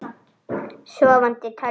Sofandi tölva.